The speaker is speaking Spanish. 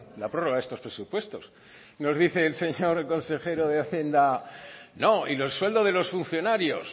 la prorroga a estos presupuestos nos dice el señor consejero de hacienda no y los sueldos de los funcionarios